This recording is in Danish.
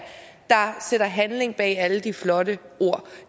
sætter handling bag alle de flotte ord